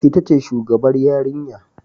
Ita ce shugabar yarinya